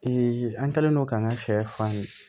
an kɛlen don k'an ka sɛ fan ye